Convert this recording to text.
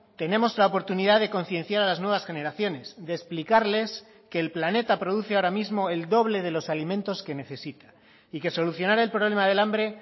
tenemos la oportunidad de concienciar a las nuevas generaciones de explicarles que el planeta produce ahora mismo el doble de los alimentos que necesita y que solucionar el problema del hambre